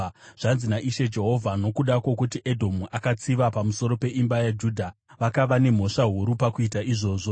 “Zvanzi naIshe Jehovha: ‘Nokuda kwokuti Edhomu akatsiva pamusoro peimba yaJudha vakava nemhosva huru pakuita izvozvo,